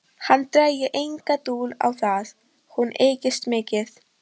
Hann drægi enga dul á það: hún ykist mikið.